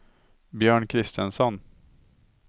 Björn Christensson